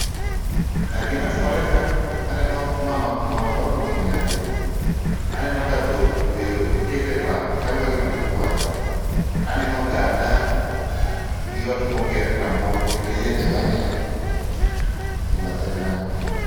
Aaah, gima timore ka aneno mama, mama moro kotingo nyathi, aneno ka dhok be oket e pap, chalo kagima gikwayo. Aneno ogada gi ot moger kamoro kendo yiende be aneno e bathe kanyo